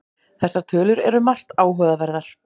Þessar tölur eru margt áhugaverðar